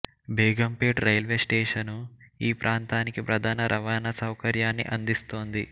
Begumpet railway station ఈ ప్రాంతానికి ప్రధాన రవాణా సౌకర్యాన్ని అందిస్తోంది